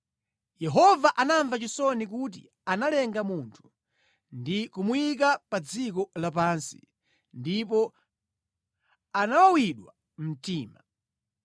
Yehova anamva chisoni kuti analenga munthu ndi kumuyika pa dziko lapansi, ndipo anawawidwa mtima.